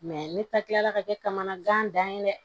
ne ta tila ka kɛ kamana gannen ye dɛ